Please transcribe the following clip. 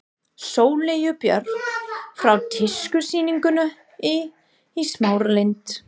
Sóleyju Björk frá tískusýningunni í Smáralind.